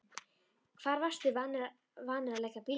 Hvar varstu vanur að leggja bílnum?